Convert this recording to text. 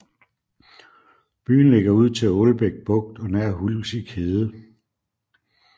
Byen ligger ud til Aalbæk Bugt og nær Hulsig Hede